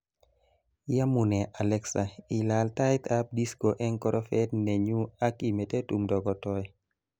yamunee Alexa ilal tait ab disco eng korofat nenyu ak imete tumdo kotoe